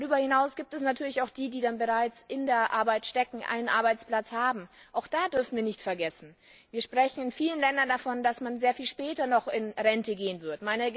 Darüber hinaus gibt es natürlich auch die, die bereits einen Arbeitsplatz haben. Auch da dürfen wir nicht vergessen Wir sprechen in vielen Ländern davon, dass man sehr viel später in Rente gehen wird.